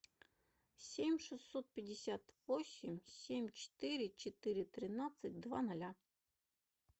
семь шестьсот пятьдесят восемь семь четыре четыре тринадцать два ноля